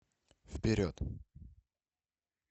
вперед